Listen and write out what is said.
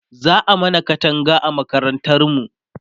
za'a mana Katanga a makarantar mu